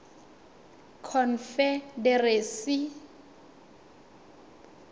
confederacy